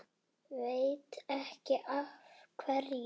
Veit ekki af hverju.